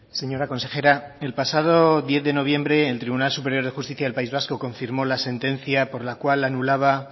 señora consejera el pasado diez de noviembre el tribunal superior de justicia del país vasco confirmó la sentencia por la cual anulaba